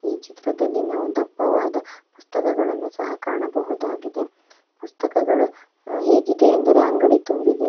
ಈ ಚಿತ್ರದಲ್ಲಿ ನಾವು ದಪ್ಪವಾದ ಪುಸ್ತಕಗಳನ್ನು ಸಹ ಕಾಣಬಹುದಾಗಿದೆ ಪುಸ್ತಕಗಳು ಹೇಗಿದೆ ಎಂದರೆ ಅಂಗಡಿ ತುಂಬಿದೆ.